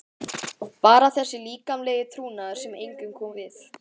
Bara þessi líkamlegi trúnaður sem engum kom við.